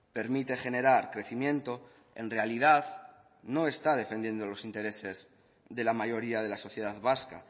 permite generar crecimiento en realidad no está defendiendo los intereses de la mayoría de la sociedad vasca